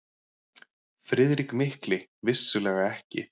FRIÐRIK MIKLI: Vissulega ekki!